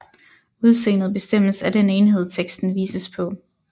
Udseendet bestemmes af den enhed teksten vises på